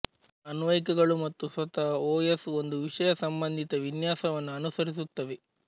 ಅನ್ವಯಿಕಗಳು ಮತ್ತು ಸ್ವತಃ ಓಎಸ್ ಒಂದು ವಿಷಯಸಂಬಂಧಿತ ವಿನ್ಯಾಸವನ್ನು ಅನುಸರಿಸುತ್ತವೆ